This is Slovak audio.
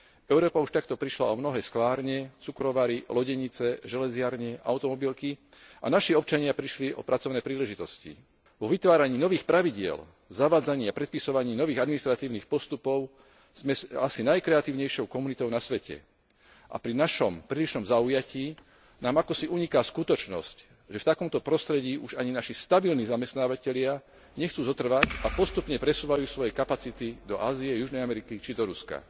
Európa už takto prišla o mnohé sklárne, cukrovary, lodenice, železiarne, automobilky a naši občania prišli o pracovné príležitosti. Vo vytváraní nových pravidiel, zavádzaní a predpisovaní nových administratívnych postupov sme asi najkreatívnejšou komunitou na svete a pri našom prílišnom zaujatí nám akosi uniká skutočnosť, že v takomto prostredí už ani naši stabilní zamestnávatelia nechcú zotrvať a postupne presúvajú svoje kapacity do Ázie, Južnej Ameriky či do Ruska.